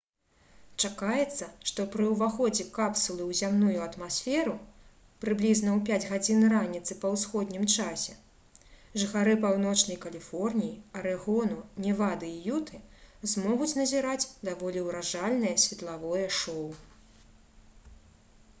чакаецца што пры ўваходзе капсулы ў зямную атмасферу прыблізна ў 5 гадзін раніцы па ўсходнім часе жыхары паўночнай каліфорніі арэгону невады і юты змогуць назіраць даволі ўражальнае светлавое шоу